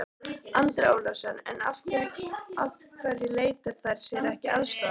Andri Ólafsson: En af hverju leita þær sér ekki aðstoðar?